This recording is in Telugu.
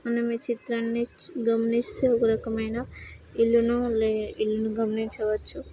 మనము ఈ చిత్రాన్ని గమనిస్తే ఒకరకమైన ఇల్లు-ల ఉన్నాయి. ఇల్లుని గమనించవచ్చు.